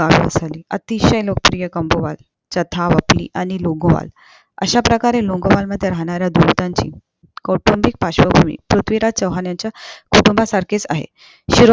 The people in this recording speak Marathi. अतिशय लोकप्रिय कोम्बोवात छता ओपली आणि लोगोंवला अश्या प्रकारे लोगोंवलमधे राहणाऱ्या दुलटांची कौटुंबिक पार्श्वभूमी पृथ्वीराज चौहान यांच्या कुटुंबासारखेच आहे हे